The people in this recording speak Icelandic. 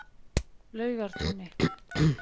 Laugartúni